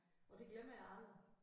Og det glemmer jeg aldrig